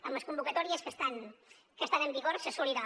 en les convocatòries que estan en vigor s’assolirà